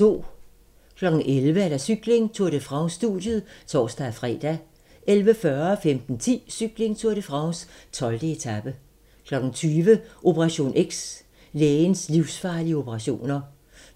11:00: Cykling: Tour de France - studiet (tor-fre) 11:40: Cykling: Tour de France - 12. etape 15:10: Cykling: Tour de France - 12. etape 20:00: Operation X: Lægens livsfarlige operationer